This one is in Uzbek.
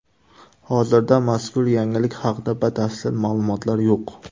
Hozirda mazkur yangilik haqida batafsil ma’lumotlar yo‘q.